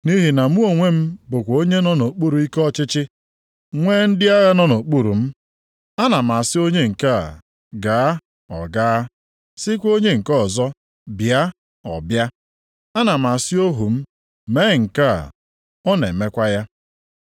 Nʼihi na mụ onwe m bụkwa onye nọ nʼokpuru ikike ọchịchị, nwee ndị agha nọ nʼokpuru m. Ana m asị onye nke a, ‘gaa.’ Ọ gaa, sịkwa onye nke ọzọ, ‘bịa.’ Ọ bịa. Ana m asị ohu m, ‘mee nke a.’ Ọ na-emekwa ya.”